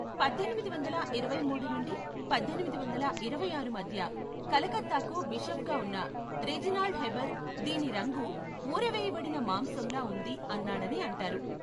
పద్దెనిమిది వందల ఇరవై మూడు నుండి పద్దెనిమిది వందల ఇరవై ఆరు మధ్య కలకత్తాకు బిషప్గా ఉన్న రెజినాల్డ్ హెబెర్ దీని రంగు ఊరవేయబడిన మాంసంలా ఉంది అన్నాడని అంటారు.